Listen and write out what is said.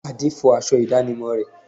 Ade fọ aṣọ ìdánimọ̀ rẹ̀